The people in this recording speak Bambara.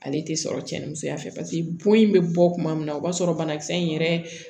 Ale tɛ sɔrɔ cɛnnimusoya fɛ paseke bon in bɛ bɔ kuma min na o b'a sɔrɔ banakisɛ in yɛrɛ